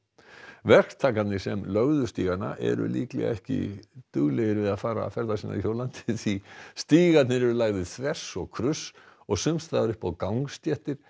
verktakarnir sem lögðu stígana eru líklega ekki duglegir að fara ferða sinna hjólandi því stígarnir eru lagðir þvers og kruss og sums staðar upp á gangstéttir